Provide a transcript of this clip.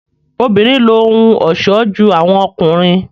obìnrin ló ohùn ọṣọ jù awọn ọkùnrin